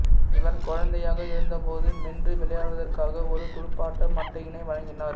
இவர் குழந்தையாக இருந்தபோது மென்று விளையாடுவதற்காக ஒரு துடுப்பாட்ட மட்டையினை வழங்கினார்